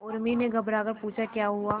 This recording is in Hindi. उर्मी ने घबराकर पूछा क्या हुआ